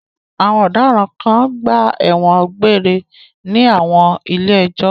Àwọn ọ̀daràn kan gba ẹ̀wọ̀n egbére ní àwọn ilé-ẹjọ́.